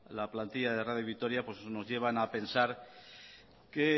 la plantilla de radio vitoria pues nos llevan a pensar que el